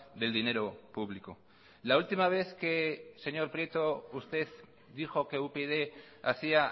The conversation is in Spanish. del dinero público la última vez que señor prieto usted dijo que upyd hacía